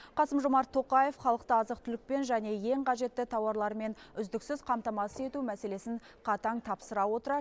қасым жомарт тоқаев халықты азық түлікпен және ең қажетті тауарлармен үздіксіз қамтамасыз ету мәселесін қатаң тапсыра отыра